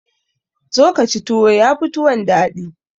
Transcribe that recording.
Zo ka ci tuwo, ya fi tuwon daɗi.